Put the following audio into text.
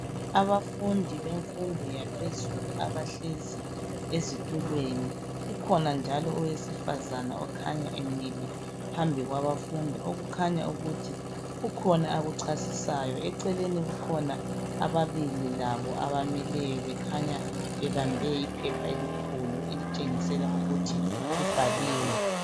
Abafundi bemfundo yaphezulu abahlezi ezitulweni kukhona njalo owesifazana okhanya emile phambi kwabafundi okukhanya ukuthi kukhona akuchasisayo eceleni kukhona ababili labo abamileyo bekhanya bebambe iphepha elikhulu elitshengisela ukuthi libhaliwe.